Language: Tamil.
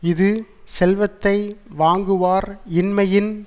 இது செல்வத்தை வாங்குவார் இன்மையின்